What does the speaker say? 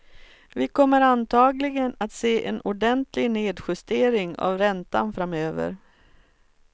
Vi kommer antagligen att se en ordentlig nedjustering av räntan framöver.